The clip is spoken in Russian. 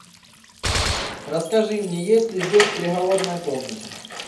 расскажи мне есть ли здесь переговорная комната